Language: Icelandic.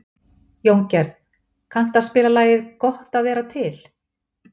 Jóngerð, kanntu að spila lagið „Gott að vera til“?